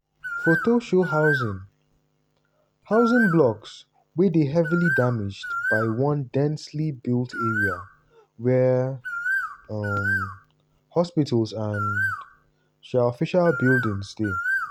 foto show housing housing blocks wey dey heavily damaged for one densely built area wia um hospitals and um official buildings dey.